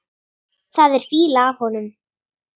Það er fýla af honum.